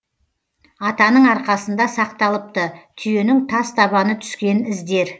атаның арқасында сақталыпты түйенің тас табаны түскен іздер